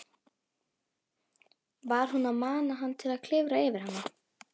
Var hún að mana hann til að klifra yfir hana?